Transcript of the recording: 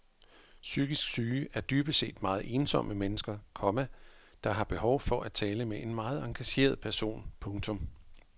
Psykisk syge er dybest set meget ensomme mennesker, komma der har behov for at tale med en meget engageret person. punktum